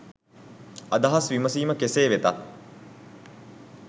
අදහස් විමසිම කෙසේ වෙතත්